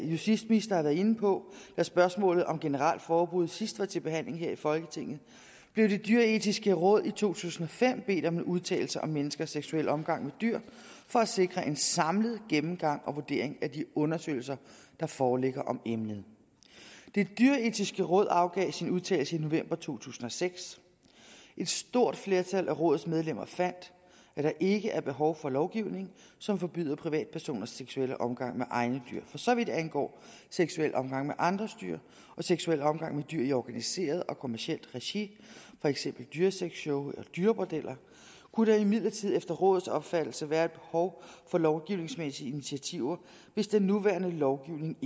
justitsminister har været inde på da spørgsmålet om et generelt forbud sidst var til behandling her i folketinget blev det dyreetiske råd i to tusind og fem bedt om en udtalelse om menneskers seksuelle omgang med dyr for at sikre en samlet gennemgang og vurdering af de undersøgelser der foreligger om emnet det dyreetiske råd afgav sin udtalelse i november to tusind og seks et stort flertal af rådets medlemmer fandt at der ikke er behov for lovgivning som forbyder privatpersoners seksuelle omgang med egne dyr for så vidt angår seksuel omgang med andres dyr og seksuel omgang med dyr i organiseret og kommercielt regi for eksempel dyresexshow eller dyrebordeller kunne der imidlertid efter rådets opfattelse være et behov for lovgivningsmæssige initiativer hvis den nuværende lovgivning